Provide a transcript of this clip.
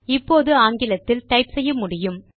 இப்போது ஆங்கிலத்தில் டைப் செய்ய முடியும்